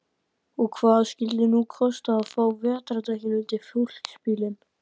Og hvað skyldi nú kosta að fá vetrardekkin undir fólksbílinn?